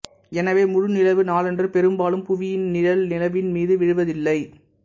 எனவே முழுநிலவு நாளன்று பெரும்பாலும் புவியின் நிழல் நிலவின் மீது விழுவதில்லை